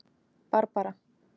Barbara